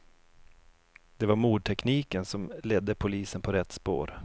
Det var mordtekniken som ledde polisen på rätt spår.